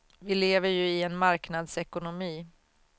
Vi lever ju i en marknadsekonomi.